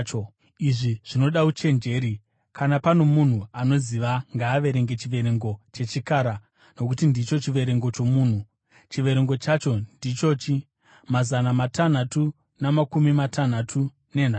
Izvi zvinoda uchenjeri. Kana pano munhu anoziva, ngaaverenge chiverengo chechikara, nokuti ndicho chiverengo chomunhu. Chiverengo chacho ndichochi: Mazana matanhatu namakumi matanhatu nenhanhatu.